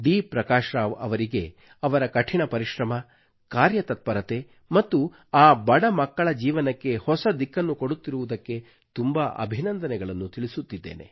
ಪ್ರಕಾಶ್ ರಾವ್ ಅವರಿಗೆ ಅವರ ಕಠಿಣ ಪರಿಶ್ರಮ ಕಾರ್ಯತತ್ಪರತೆ ಮತ್ತು ಆ ಬಡ ಮಕ್ಕಳ ಜೀವನಕ್ಕೆ ಹೊಸ ದಿಕ್ಕನ್ನು ಕೊಡುತ್ತಿರುವುದಕ್ಕೆ ತುಂಬಾ ಅಭಿನಂದನೆಗಳನ್ನು ತಿಳಿಸುತ್ತಿದ್ದೇನೆ